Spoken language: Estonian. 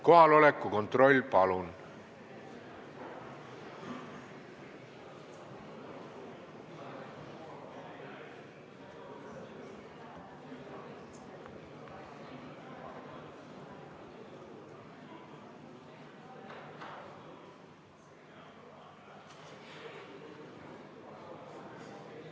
Kohaloleku kontroll, palun!